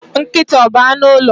Nkịta ọ bu anụ ụlọ?